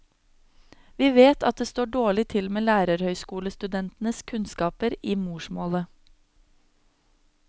Vi vet at det står dårlig til med lærerhøgskolestudentenes kunnskaper i morsmålet.